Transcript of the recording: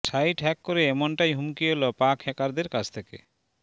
site hack করে এমনটাই হুমকি এল পাক হ্যাকারদের কাছ থেকে